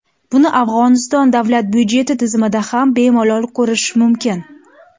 Buni Afg‘oniston davlat budjeti tizimida ham bemalol ko‘rish mumkin.